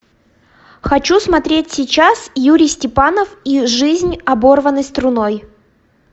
хочу смотреть сейчас юрий степанов и жизнь оборванной струной